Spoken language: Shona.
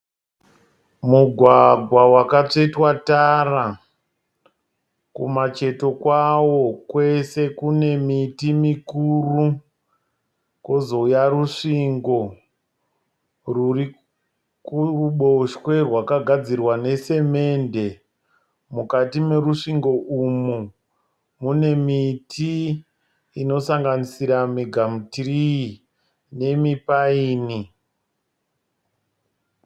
Mugwagwa wakatsvetwa tara. Kumacheto kwawo kwese kune miti mikuru. Kozouya rusvingo rwuri kuruboshwe rwakagadzirwa nesemende. Mukati merusvingo umu mune miti inosanganisira migamutirii nemipaini.